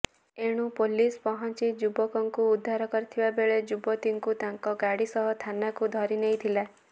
ଏଣୁ ପୋଲିସ ପହଞ୍ଚି ଯୁବକଙ୍କୁ ଉଦ୍ଧାର କରିଥିବା ବେଳେ ଯୁବତୀଙ୍କୁ ତାଙ୍କ ଗାଡିସହ ଥାନାକୁ ଧରିନେଇଥିଲା